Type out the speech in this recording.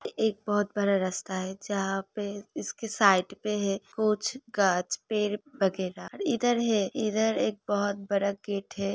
एक बहुत बड़ा रास्ता है जहा पे इसके साइट पे है। कुछ गाँछ पेर वगैरह इधर है इधर एक बहुत बड़ा गेट है।